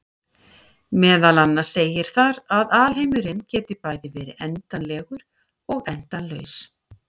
Meðal annars segir þar að alheimurinn geti bæði verið endanlegur og endalaus!